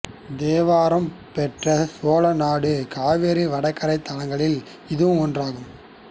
தேவாரப்பாடல் பெற்ற சோழ நாடு காவிரி வடகரைத் தலங்களில் இதுவும் ஒன்றாகும்